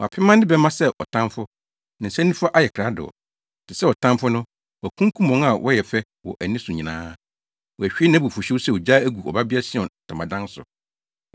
Wapema ne bɛmma sɛ ɔtamfo; ne nsa nifa ayɛ krado. Te sɛ ɔtamfo no, wakunkum wɔn a wɔyɛ fɛ wɔ ani so nyinaa; wahwie nʼabufuwhyew sɛ ogya agu Ɔbabea Sion ntamadan so.